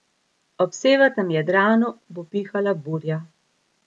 Ob severnem Jadranu bo pihala burja.